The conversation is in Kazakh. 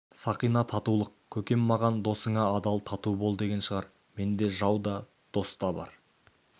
сақина татулық көкем маған досыңа адал тату бол деген шығар менде жау да дос та бар